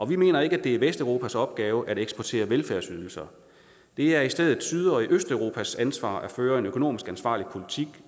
vi mener ikke at det er vesteuropas opgave at eksportere velfærdsydelser det er i stedet syd og østeuropas ansvar at føre en økonomisk ansvarlig politik